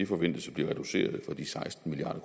forventes at blive reduceret fra de seksten milliard